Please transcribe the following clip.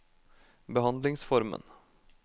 behandlingsformen